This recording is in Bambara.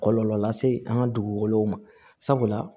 Kɔlɔlɔ lase an ka dugukolow ma sabula